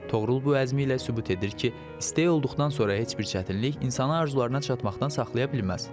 Toğrul bu əzmi ilə sübut edir ki, istək olduqdan sonra heç bir çətinlik insanı arzularına çatmaqdan saxlaya bilməz.